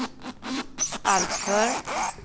alltför